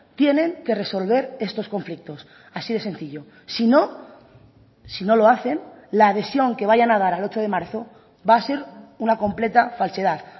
tienen que resolver estos conflictos así de sencillo si no si no lo hacen la adhesión que vayan a dar al ocho de marzo va a ser una completa falsedad